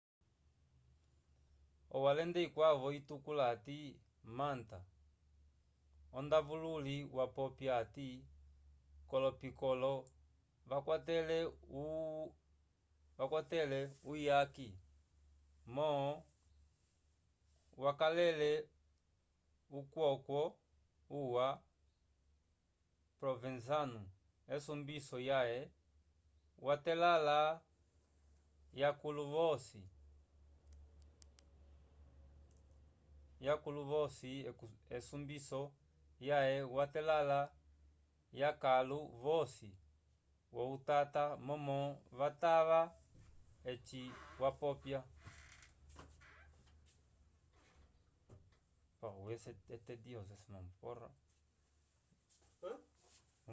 owalende ikwavo itukula ati manta ondavululi wapopya ati ko lo piccolo yakwatele uyaki mom wakalele ukwokwo o ya provenzano esumbiso yaye wa telala i akulu vosi vohutava momo vatava eci wapopya